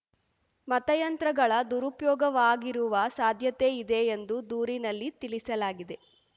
ಮತಯಂತ್ರಗಳ ದುರುಪಯೋಗವಾಗಿರುವ ಸಾಧ್ಯತೆ ಇದೆ ಎಂದು ದೂರಿನಲ್ಲಿ ತಿಳಿಸಲಾಗಿದೆ